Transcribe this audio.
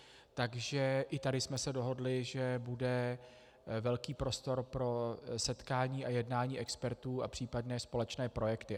Takže i tady jsme se dohodli, že bude velký prostor pro setkání a jednání expertů a případné společné projekty.